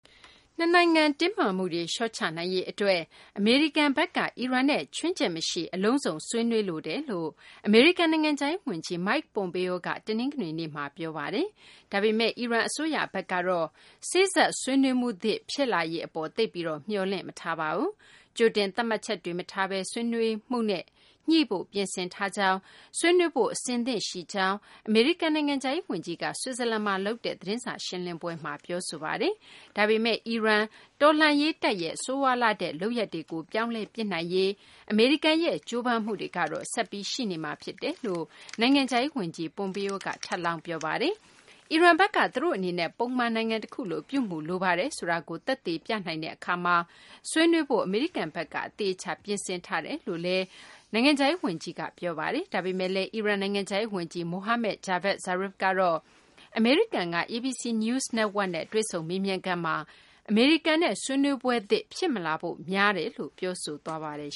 နှစ်နိုင်ငံ တင်းမာမှုတွေ လျှော့ချနိုင်ရေး အတွက် အမေရိကန်ဘက်က အီရန်နဲ့ ခြွင်းချက်မရှိ အလုံးစုံ ဆွေးနွေးလိုတယ်လို့ အမေရိကန် နိုင်ငံခြားရေး ဝန်ကြီး Mike Pompeo က တနင်္ဂနွေနေ့မှာ ပြောဆိုလိုက်ပါတယ်။ ဒါပေမယ့် အီရန် အစိုးရဘက်ကတော့ စေ့စပ်ဆွေးနွေးမှုသစ် ဖြစ်လာရေး အပေါ် သိပ်ပြီး မျှော်လင့်မထားပါဘူး။ ကြိုတင်သတ်မှတ်ချက်တွေ မထားဘဲ ဆွေးနွေးမှုနဲ့ ညှိဖို့ ပြင်ဆင်ထားကြောင်း၊ ဆွေးနွေးဖု့ိ အဆင်သင့်ရှိကြောင်း အမေရိကန် နိုင်ငံခြားရေး ဝန်ကြီးက ဆွစ်ဇာလန်မှာ လုပ်တဲ့ သတင်းစာရှင်းလင်းပွဲမှာ ပြောဆိုပါတယ်။ ဒါပေမယ့် အီရန် တော်လှန်ရေး တပ်ရဲ့ ဆိုးရွားလှတဲ့ လုပ်ရပ်တွေကို ပြောင်းလဲပစ်နိုင်ရေး အမေရိကန်ရဲ့ ကြိုးပမ်းမှုတွေကတော့ ဆက်ပြီး ရှိနေမှာ ဖြစ်တယ်လို့ အမေရိကန် နိုင်ငံခြားရေး ဝန်ကြီး Pompeo က ထပ်လောင်း ပြောပါတယ်။ အီရန်ဘက်က သူတို့ အနေနဲ့ ပုံမှန် နိုင်ငံတခုလို ပြုမူလိုပါတယ် ဆိုတာကို သက်သေပြနိုင်တဲ့ အခါမှာ ဆွေးနွေးဖို့ အမေရိကန်ဘက်က အသေအချာ ပြင်ဆင်ထားတယ်လို့လည်း ဝန်ကြီး Pompeo က ပြောပါတယ်။ ဒါပေမယ့်လည်း အီရန် နိုင်ငံခြားရေး ဝန်ကြီး Mohammad Javad Zarif ကတော့ အမေရိကန်က ABC News network နဲ့ တွေ့ဆုံမေးမြန်းခန်းမှာ အမေရိကန်နဲ့ ဆွေးနွေးပွဲသစ် ဖြစ်မလာဖို့ များတယ်လို့ ပြောဆိုသွားပါတယ်